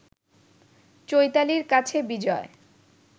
চৈতালির কাছে বিজয়